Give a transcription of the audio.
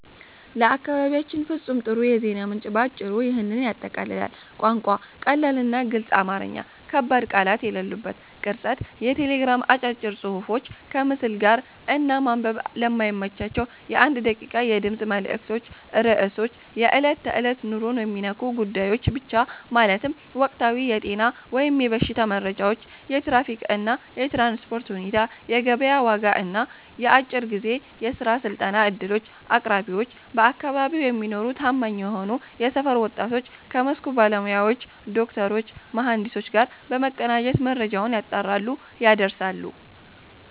ለአካባቢያችን ፍጹም ጥሩ የዜና ምንጭ ባጭሩ ይህንን ያጠቃልላል፦ ቋንቋ፦ ቀላልና ግልጽ አማርኛ (ከባድ ቃላት የሌሉበት)። ቅርጸት፦ የቴሌግራም አጫጭር ጽሑፎች ከምስል ጋር፣ እና ማንበብ ለማይመቻቸው የ1 ደቂቃ የድምፅ መልዕክቶች ርዕሶች፦ የዕለት ተዕለት ኑሮን የሚነኩ ጉዳዮች ብቻ፤ ማለትም ወቅታዊ የጤና/የበሽታ መረጃዎች፣ የትራፊክ እና የትራንስፖርት ሁኔታ፣ የገበያ ዋጋ እና የአጭር ጊዜ የሥራ/የስልጠና ዕድሎች። አቅራቢዎች፦ በአካባቢው የሚኖሩና ታማኝ የሆኑ የሰፈር ወጣቶች ከመስኩ ባለሙያዎች (ዶክተሮች፣ መሐንዲሶች) ጋር በመቀናጀት መረጃውን ያጣራሉ፣ ያደርሳሉ።